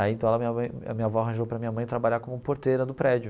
Aí, então, a minha mãe a minha avó arranjou para minha mãe trabalhar como porteira do prédio.